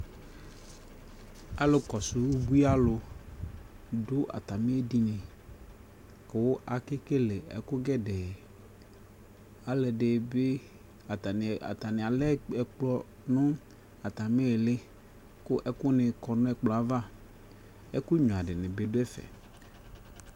Alʋkɔsʋ ubuialʋ, dʋ atamι edini, kʋ, akekele ɛkʋ gɛdɛɛ, alʋɛdι bι atamι, atanι alɛ ɛkplɔ nʋ atamιιlι, kʋ ɛkʋnι kɔnʋ ɛkplɔɛ aava, ɛkʋnyuia dιnι bι ɔdʋɛfɛ